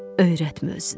Öyrətmə özünə.